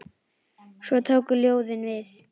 Svo tóku ljóðin við.